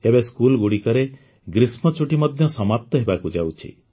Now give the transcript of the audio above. ଏବେ ସ୍କୁଲଗୁଡ଼ିକରେ ଗ୍ରୀଷ୍ମଛୁଟି ମଧ୍ୟ ସମାପ୍ତ ହେବାକୁ ଯାଉଛି